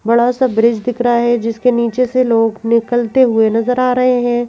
बड़ा सा ब्रिज दिख रहा है जिसके नीचे से लोग निकलते हुए नजर आ रहे हैं।